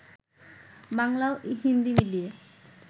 বাংলা ও হিন্দি মিলিয়ে